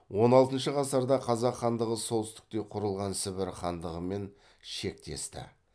он алтыншы ғасырда қазақ хандығы солтүстікте құрылған сібір хандығымен шектесті